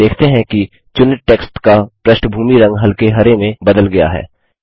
हम देखते हैं कि चुनित टेक्स्ट का पृष्ठभूमि रंग हल्के हरे में बदल गया है